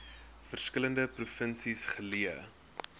verskillende provinsies geleë